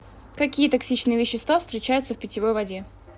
какие токсичные вещества встречаются в питьевой воде